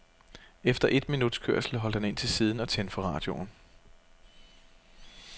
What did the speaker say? Efter et minuts kørsel holdt han ind til siden og tændte for radioen.